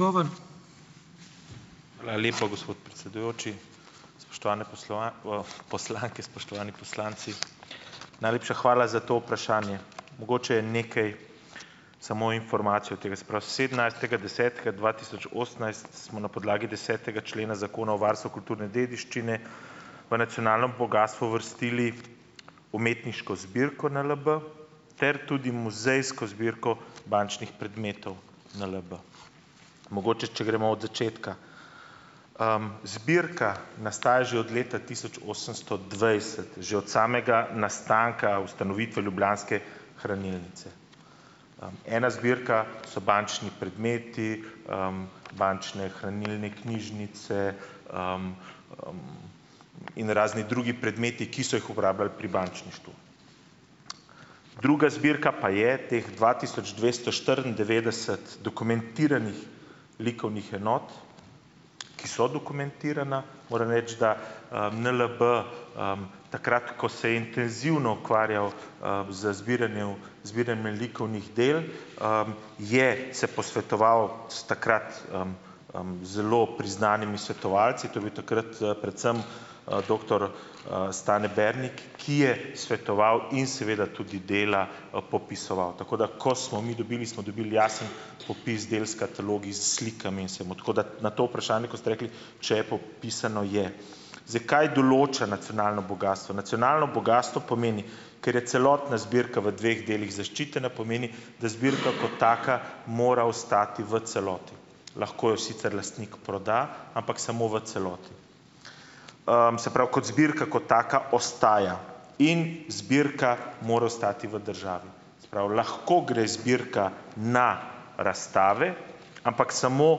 Hvala lepa, gospod predsedujoči. Spoštovane poslanke, spoštovani poslanci. Najlepša hvala za to vprašanje. Mogoče nekaj samo informacij od tega. Se pravi, sedemnajstega desetega dva tisoč osemnajst smo na podlagi desetega člena Zakona o varstvu kulturne dediščine v nacionalno bogastvo uvrstili umetniško zbirko NLB ter tudi muzejsko zbirko bančnih predmetov NLB. Mogoče, če gremo od začetka. Zbirka nastaja že od leta tisoč osemsto dvajset, že od samega nastanka, ustanovitve Ljubljanske hranilnice. Ena zbirka so bančni predmeti, bančne hranilne knjižnice in razni drugi predmeti, ki so jih uporabljali pri bančništvu. Druga zbirka pa je teh dva tisoč dvesto štiriindevetdeset dokumentiranih likovnih enot, ki so dokumentirane. Moram reči, da, NLB, takrat, ko se je intenzivno ukvarjal, z zbiranjev zbiranjem likovnih del, je se posvetoval s takrat, zelo priznanimi svetovalci. To je bil takrat, predvsem, doktor, Stane Bernik, ki je svetoval in seveda tudi dela, popisoval. Tako da ko smo mi dobili, smo dobili jasen popis del s katalogi, s slikami. Tako da na to vprašanje, ko ste rekli, če je popisano, je. Zdaj, kaj določa nacionalno bogastvo? Nacionalno bogastvo pomeni, ker je celotna zbirka v dveh delih zaščitena, pomeni, da zbirka kot taka mora ostati v celoti. Lahko jo sicer lastnik proda, ampak samo v celoti. se pravi, kot zbirka kot taka ostaja in zbirka mora ostati v državi, se pravi, lahko gre zbirka na razstave, ampak samo,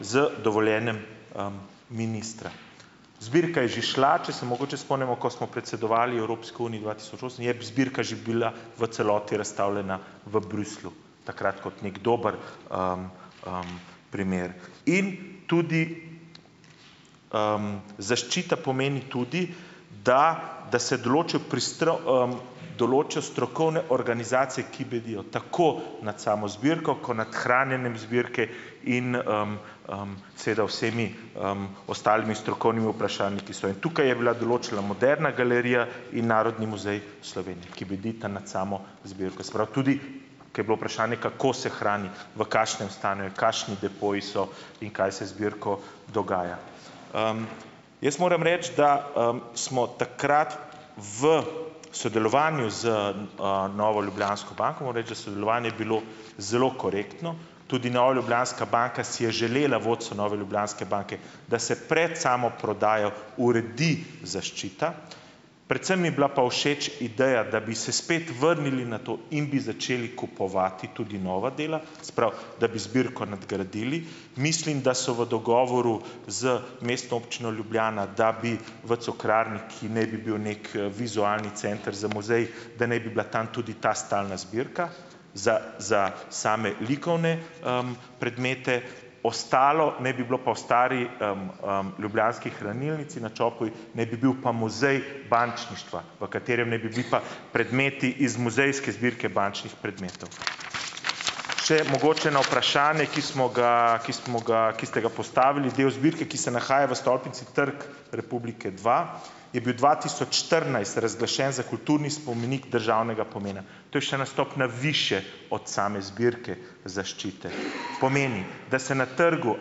z dovoljenjem, ministra. Zbirka je že šla. Če se mogoče spomnimo, ko smo predsedovali Evropski uniji dva tisoč osem, je zbirka že bila v celoti razstavljena v Bruslju takrat kot neki dober primer. In tudi, zaščita pomeni tudi, da da se določijo določijo strokovne organizacije, ki bedijo tako nad samo zbirko ko nad hranjenjem zbirke in, seveda vsemi, ostalimi strokovnimi vprašanji, ki sva jih. Tukaj je bila določila Moderna galerija in Narodni muzej Slovenije, ki bedita nad samo zbirko. Se pravi tudi, ker je bilo vprašanje, kako se hrani, v kakšnem stanju je, kakšni depoji so in kaj se z zbirko dogaja. Jaz moram reči, da, smo takrat v sodelovanju z, Novo Ljubljansko banko, moram reči, da sodelovanje je bilo zelo korektno, tudi Nova Ljubljanska banka si je želela, vodstvo Nove Ljubljanske banke, da se pred samo prodajo uredi zaščita, predvsem mi je bila pa všeč ideja, da bi se spet vrnili na to in bi začeli kupovati tudi nova dela, se pravi, da bi zbirko nadgradili. Mislim, da so v dogovoru z Mestno občino Ljubljana, da bi v Cukrarni, ki naj bi bil neki, vizualni center za muzej, da naj bi bila tam tudi ta stalna zbirka za za same likovne, predmete. Ostalo naj bi bilo pa, v stari, Ljubljanski hranilnici na Čopovi naj bi bil pa muzej bančništva, v katerem naj bi bili pa predmeti iz muzejske zbirke bančnih predmetov. Še mogoče na vprašanje, ki smo ga, ki smo ga, ki ste ga postavili. Del zbirke, ki se nahaja v stolpnici Trg republike dva, je bil dva tisoč štirinajst razglašen za kulturni spomenik državnega pomena. To je še ena stopnja višje od same zbirke zaščite. Pomeni, da se na trgu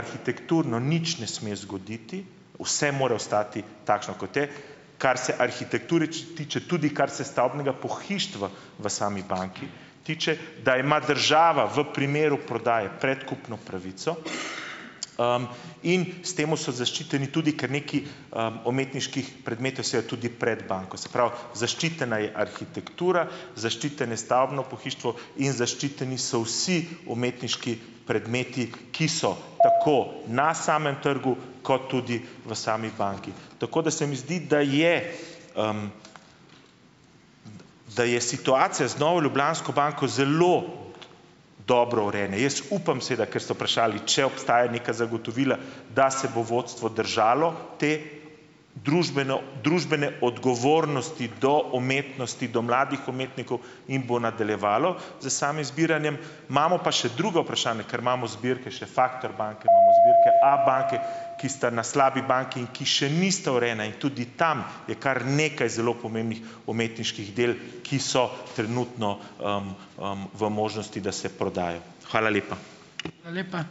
arhitekturno nič ne sme zgoditi, vse mora ostati takšno, kot je, kar se arhitekture tiče, tudi kar se stavbnega pohištva v sami banki tiče, da ima država v primeru prodaje predkupno pravico, in s tem so zaščiteni tudi kar nekaj, umetniških predmetov sea tudi pred banko. Se pravi, zaščitena je arhitektura, zaščiteno stavbno pohištvo in zaščiteni so vsi umetniški predmeti, ki so tako na samem trgu kot tudi v sami banki. Tako da se mi zdi, da je, da je situacija z Novo Ljubljansko banko zelo dobro urejena. Jaz upam seveda, ker ste vprašali, če obstajajo neka zagotovila, da se bo vodstvo držalo te družbeno družbene odgovornosti do umetnosti, do mladih umetnikov in bo nadaljevalo s samim zbiranjem. Imamo pa še drugo vprašanje, ker imamo zbirke še Factor banke, imamo zbirke Abanke, ki sta na slabi banki in ki še nista urejeni in tudi tam je kar nekaj zelo pomembnih umetniških del, ki so trenutno, v možnosti, da se prodajo. Hvala lepa.